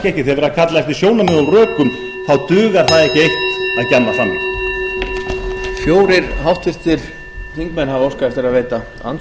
að kalla eftir sjónarmiðum og rökum þá dugar það ekki eitt að gjamma fram í